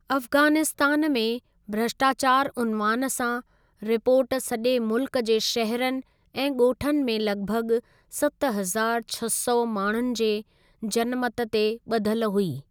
अफगानिस्तान में भ्रष्टाचार उनवान सां, रिपोर्ट सजे॒ मुल्कु जे शहरुनि ऐं गो॒ठनि में लगि॒भगि॒ सत हज़ार छह सौ माण्हुनि जे जनमतु ते ब॒धलु हुई।